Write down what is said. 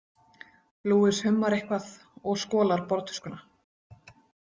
Luis hummar eitthvað og skolar borðtuskuna.